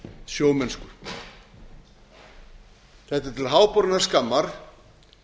sjómennsku þetta er til háborinnar skammar